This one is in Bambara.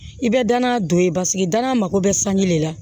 I bɛ danaya don ye paseke danaya mako bɛ sanji de la